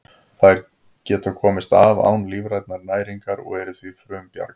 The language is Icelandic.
Þær geta komist af án lífrænnar næringar og eru því frumbjarga.